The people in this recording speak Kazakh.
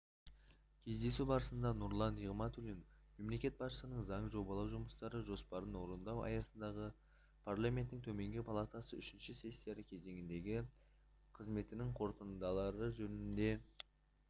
кездесу барысында нұрлан нығматулин мемлекет басшысына заң жобалау жұмыстары жоспарын орындау аясындағы парламенттің төменгі палатасының үшінші сессия кезеңіндегі қызметінің қорытындылары жөнінде